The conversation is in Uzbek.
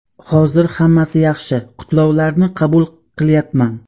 Hozir hammasi yaxshi, qutlovlarni qabul qilyapman.